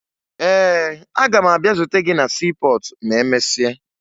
Ee, aga m abịa zute gị na siipọọtụ ma emesịa